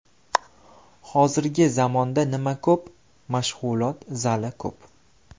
Hozirgi zamonda nima ko‘p, mashg‘ulot zali ko‘p.